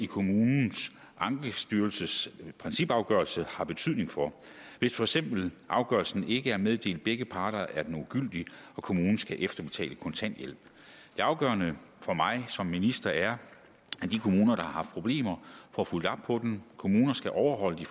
kommunens ankestyrelses principafgørelse har betydning for hvis for eksempel afgørelsen ikke er meddelt begge parter er den ugyldig og kommunen skal efterbetale kontanthjælp det afgørende for mig som minister er at de kommuner der har haft problemer får fulgt op på dem kommuner skal overholde de